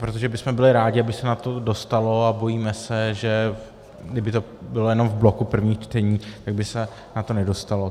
Protože bychom byli rádi, aby se na to dostalo, a bojíme se, že kdyby to bylo jenom v bloku prvních čtení, tak by se na to nedostalo.